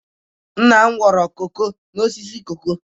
Nna m kụrụ koko n'osisi koko.